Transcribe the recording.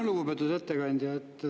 Lugupeetud ettekandja!